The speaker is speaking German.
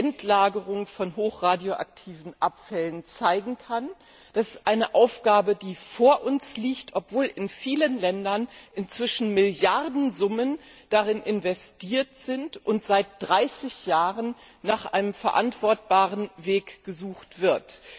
Endlagerung von hochradioaktiven Abfällen vorzeigen kann. Das ist eine Aufgabe, die vor uns liegt, obwohl in vielen Ländern inzwischen Milliardensummen darin investiert sind und seit 30 Jahren nach einem verantwortbaren Weg gesucht wird.